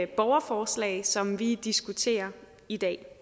borgerforslag som vi diskuterer i dag